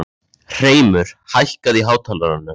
Hreimur, hækkaðu í hátalaranum.